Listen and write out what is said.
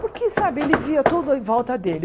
Porque, sabe, ele via tudo em volta dele.